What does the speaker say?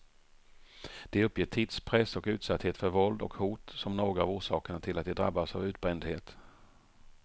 De uppger tidspress och utsatthet för våld och hot som några av orsakerna till att de drabbas av utbrändhet.